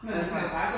Altså